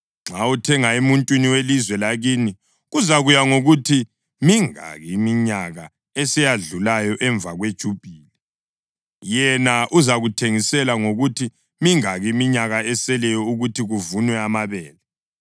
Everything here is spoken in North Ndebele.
Nxa uthenga emuntwini welizwe lakini kuzakuya ngokuthi mingaki iminyaka eseyadlulayo emva kweJubhili. Yena uzakuthengisela ngokuthi mingaki iminyaka eseleyo ukuthi kuvunwe amabele.